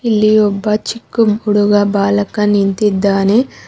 ಇಲ್ಲಿ ಒಬ್ಬ ಚಿಕ್ಕ ಹುಡುಗ ಬಾಲಕ ನಿಂತಿದ್ದಾನೆ.